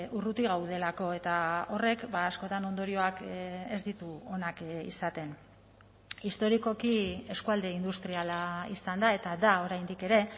urruti gaudelako eta horrek askotan ondorioak ez ditu onak izaten historikoki eskualde industriala izan da eta da oraindik ere